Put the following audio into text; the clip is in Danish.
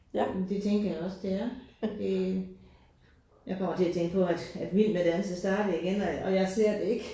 Men det tænker jeg også det der øh. Jeg kommer til at tænke på at at Vild med dans er startet igen og